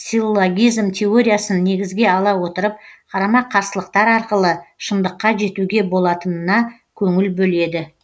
силлогизм теориясын негізге ала отырып қарама қарсылықтар арқылы шыңдыққа жетуге болатынына көңіл бөледі